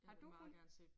Har du hund?